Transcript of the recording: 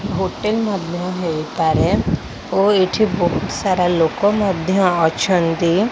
Hotel ମଧ୍ୟ ହେଇପାରେ ଓଏଠି ବୋହୁତ୍ ସାରା ଲୋକ ମଧ୍ୟ ଅଛନ୍ତି।